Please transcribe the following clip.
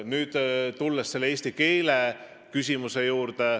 Nüüd, eesti keele küsimus.